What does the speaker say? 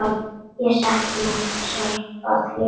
Ég sakna sárt félaga míns.